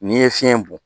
N'i ye fiɲɛ bɔn